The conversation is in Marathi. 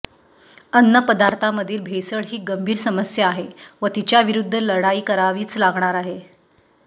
अन्नपदार्थामधील भेसळ ही गंभीर समस्या आहे व तिच्याविरुद्ध लढाई करावीच लागणार आहे